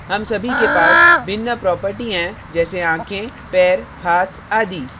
हम सभी के पास भिन्न properties हैं जैसे आँखें पैर हाथ आदि